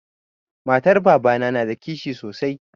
Matar babana na da kishi sosai.